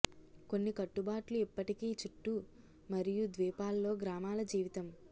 కొన్ని కట్టుబాట్లు ఇప్పటికీ చుట్టూ మరియు ద్వీపాల్లో గ్రామాల జీవితం